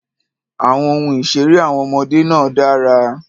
Àwọn ohun ìṣeré àwọn ọmọdé náà dára.